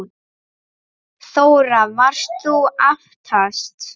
Þóra: Varst þú aftast?